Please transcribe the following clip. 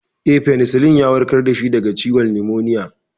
Eh, Fenisilin ya warkar da shi daga ciwon numoniya.